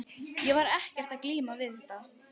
Ég var ekkert að glíma við þetta.